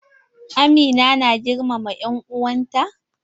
Amina na girmama en'uwan ta?